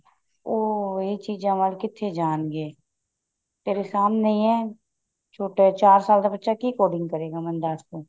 ਉਹ ਇਹ ਚੀਜ਼ਾਂ ਵੱਲ ਕਿੱਥੇ ਜਾਣਗੇ ਤੇਰੇ ਸਾਹਮਣੇ ਹੀ ਹੈ ਚਾਰ ਸਾਲ ਦਾ ਬੱਚਾ ਕੀ coding ਕਰੇਗਾ ਦੱਸ ਤੂੰ